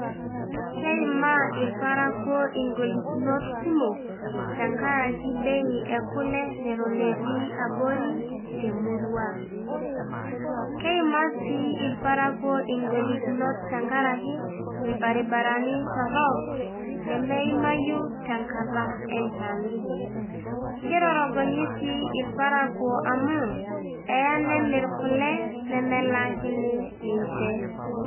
keimaa ilparakuo ingolikinot kumok tenkaraki bei ekule neton etii abori temurua ang'.keimaa sii irparakuo ing'olikinot tenkaraki. ilbaribarani torok, lemeimayu tenkata enchan. kitorogonyi sii irparakuo, amu eeya nemir kule nemelaakini ninche.